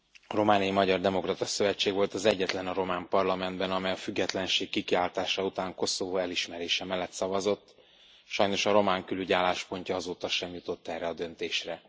A Romániai Magyar Demokrata Szövetség volt az egyetlen a román parlamentben, amely a függetlenség kikiáltása után Koszovó elismerése mellett szavazott, sajnos a román külügy álláspontja azóta sem jutott erre a döntésre.